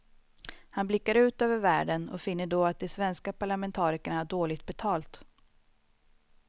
Han blickar ut över världen och finner då att de svenska parlamentarikerna har dåligt betalt.